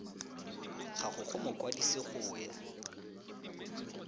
gago go mokwadise go ya